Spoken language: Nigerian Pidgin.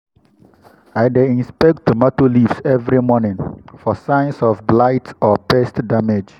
i dey inspect tomato leaves every morning for signs of blight or pest damage.